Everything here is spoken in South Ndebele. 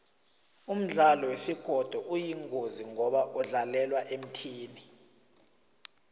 umdlalo wesigodo uyingozi ngoba kudlalelwa emthini